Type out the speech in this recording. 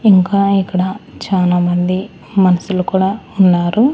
ఇంకా ఇక్కడ చాలామంది మన్షులు కూడా ఉన్నారు.